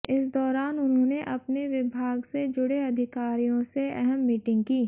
इस दौरान उन्होंने अपने विभाग से जुड़े अधिकारियों से अहम मीटिंग की